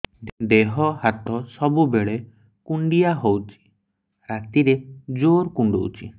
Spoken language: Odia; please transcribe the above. ଦେହ ହାତ ସବୁବେଳେ କୁଣ୍ଡିଆ ହଉଚି ରାତିରେ ଜୁର୍ କୁଣ୍ଡଉଚି